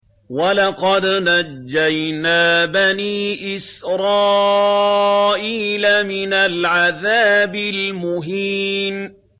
وَلَقَدْ نَجَّيْنَا بَنِي إِسْرَائِيلَ مِنَ الْعَذَابِ الْمُهِينِ